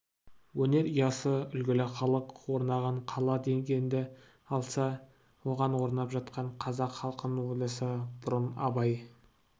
өнер ұясы үлгілі халық орнаған қала дегенді алса оған орнап жатқан қазақ халқын ойласа бұрын абай